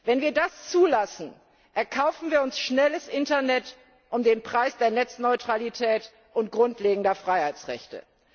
Wenn wir das zulassen, erkaufen wir uns schnelles Internet um den Preis der Netzneutralität und grundlegender Freiheitsrechte.